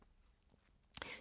DR2